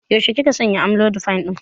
Yaushe kika shanye amlodipine ɗin?